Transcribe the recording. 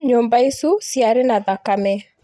"Nyũmba icu ciare na thakame